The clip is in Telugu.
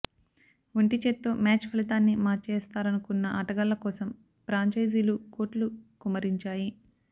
ఒంటిచేత్తో మ్యాచ్ ఫలితాన్ని మార్చేస్తారనుకున్న ఆటగాళ్ల కోసం ప్రాంచైజీలు కోట్లు కుమ్మరించాయి